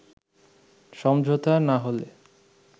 “সমঝোতা না হলে